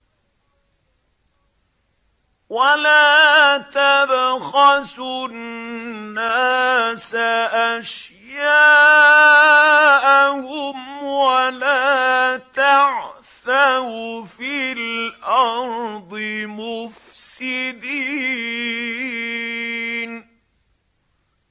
وَلَا تَبْخَسُوا النَّاسَ أَشْيَاءَهُمْ وَلَا تَعْثَوْا فِي الْأَرْضِ مُفْسِدِينَ